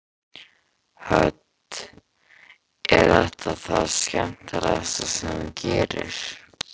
Hödd: Er þetta það skemmtilegasta sem þú gerir?